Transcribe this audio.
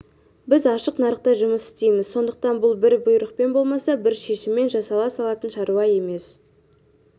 біз ашық нарықта жұмыс істейміз сондықтан бұл бір бұйрықпен болмаса бір шешіммен жасала салатын шаруа емес